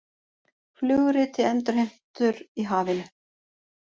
Flugriti endurheimtur í hafinu